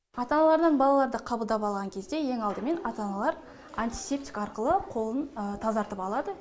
ата аналардан балаларды қабылдап алған кезде ең алдымен ата аналар антисептик арқылы қолын тазартып алады